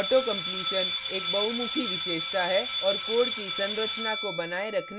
auto completion एक बहुमुखी विशेषता है और code की संरचना को बनाए रखने में काफी मदद करता है